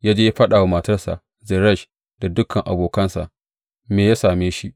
Ya je ya faɗa wa matarsa Zeresh, da dukan abokansa, me ya same shi.